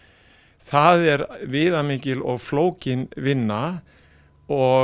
það er viðamikil og flókin vinna og